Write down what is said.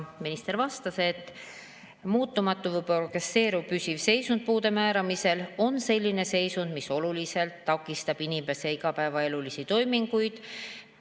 Minister vastas, et muutumatu või progresseeruv püsiv seisund puude määramisel on selline seisund, mis oluliselt takistab inimese igapäevaelulisi toiminguid.